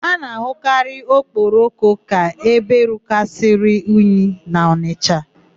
A na-ahụ Okpoko ka ebe rukarịsịrị unyi n'Ọnịsha.